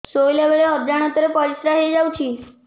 ଶୋଇଲା ବେଳେ ଅଜାଣତ ରେ ପରିସ୍ରା ହେଇଯାଉଛି